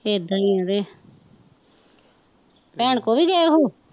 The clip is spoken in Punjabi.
ਤੇ ਇੱਦਾਂ ਈ ਤੇ ਭੈਣ ਕੋਲ ਵੀ ਗਏ ਉਹ